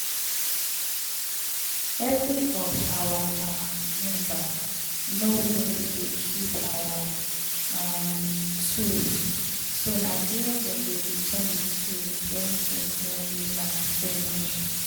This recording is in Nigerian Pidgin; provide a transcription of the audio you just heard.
every of our um member know wia we dey keep our um toools so na dere dem dey return de tools wen dem don use am finish.